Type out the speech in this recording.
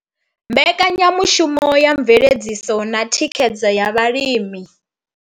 Mbekanya mushumo ya Mveledziso na Thikhedzo ya Vhalimi.